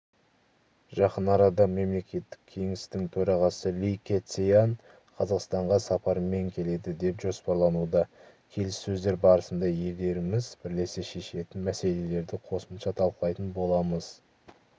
жақын арада мемлекеттік кеңестің төрағасы ли кэцян қазақстанға сапармен келеді деп жоспарлануда келіссөздер барысында елдеріміз бірлесе шешетін мәселелерді қосымша талқылайтын боламыз